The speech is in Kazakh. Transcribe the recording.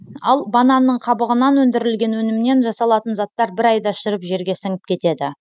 ал бананның қабығынан өндірілген өнімнен жасалатын заттар бір айда шіріп жерге сіңіп кетеді